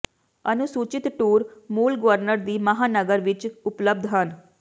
ਅਨੁਸੂਚਿਤ ਟੂਰ ਮੂਲ ਗਵਰਨਰ ਦੀ ਮਹਾਂਨਗਰ ਵਿਚ ਉਪਲਬਧ ਹਨ